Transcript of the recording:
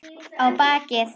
Á bakið.